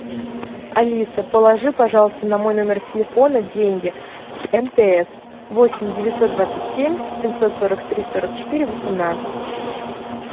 алиса положи пожалуйста на мой номер телефона деньги мтс восемь девятьсот двадцать семь семьсот сорок три сорок четыре восемнадцать